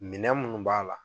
Min munnu b'a la.